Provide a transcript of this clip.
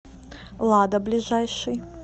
лада ближайший